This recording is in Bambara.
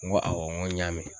N go awɔ n ko n y'a mɛn